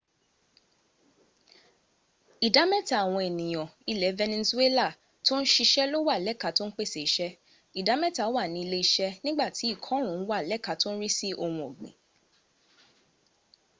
ìdá mẹ́ta àwọn ènìyàn ilẹ̀ venezuela tó ń siṣẹ́ ló wà lẹ́ka tó ń pèsè iṣẹ́ ìdá mẹ́ta wà ní ilé- iṣẹ́ nígbàtí ìkọrùn ún wà lẹ́ka tó ń rí sí ohun ọ̀gbìn